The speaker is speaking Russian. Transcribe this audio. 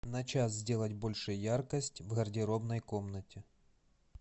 на час сделать больше яркость в гардеробной комнате